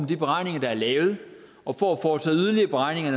de beregninger der er lavet og for at foretage yderligere beregninger